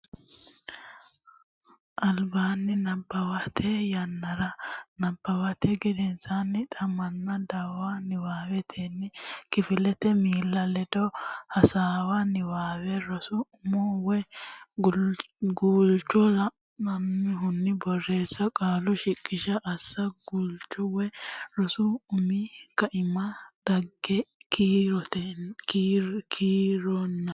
albaanni nabbawate yannaranna nabbawate gedensaanni xa manna dawara Niwaawennire kifilete miilla ledo hasaawa Niwaawe rosu umo woy guulcho la annohunni borreessa Qaalu shiqishsha assa Guulchu woy rosu umi kaiminni dhagge kiironna.